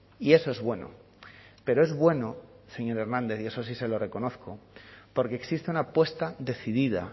y eso es bueno pero es bueno señor hernández y eso sí se lo reconozco porque existe una apuesta decidida